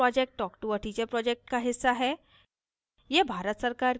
spoken tutorial project talktoa teacher project का हिस्सा है